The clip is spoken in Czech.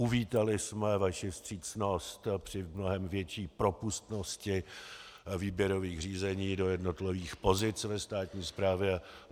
Uvítali jsme vaši vstřícnost při mnohem větší propustnosti výběrových řízení do jednotlivých pozic ve státní správě.